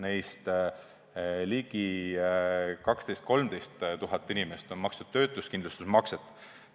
Neist ligi 12 000 – 13 000 inimest on maksnud töötuskindlustusmakset.